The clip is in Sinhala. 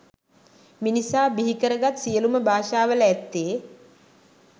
මිනිසා බිහිකරගත් සියලුම භාෂාවල ඇත්තේ